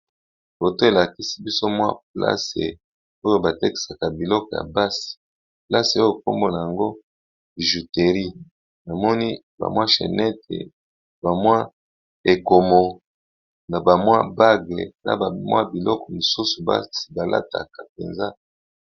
Foto elakisi biso mwa plasi oyo batekisaka biloko ya basi, plasi oyo kombona yango bijutery namoni bamwachenete, bamwa ekomo na bamwa bagle, na bamwa biloko mosusu basi balataka mpenza.